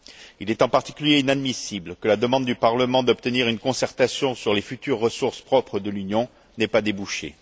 Il est en particulier inadmissible que la demande du Parlement d'obtenir une concertation sur les futures ressources propres de l'Union n'ait pas débouché.